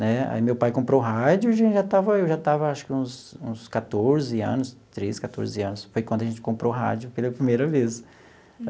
Né aí meu pai comprou rádio e a gente já estava eu já estava acho que uns uns quatorze anos, treze quatorze anos, foi quando a gente comprou rádio pela primeira vez.